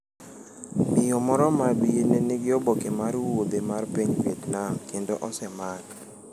Miyo moro maabye ne nigi oboke mar wuodhe mar piny Vietnam kendo osemak.